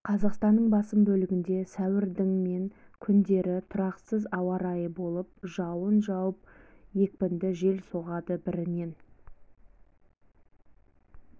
қазақстанның басым бөлігінде сәуірдің мен күндері тұрақсыз ауа райы болып жауын жауып екпінді жел соғады бірінен